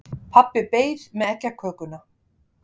Pabbi beið með eggjakökuna.